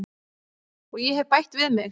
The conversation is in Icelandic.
Og ég hef bætt við mig.